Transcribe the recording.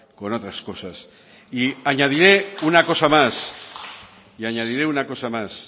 con otras cosas y añadiré una cosa más